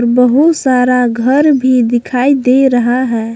बहुत सारा घर भी दिखाई दे रहा है।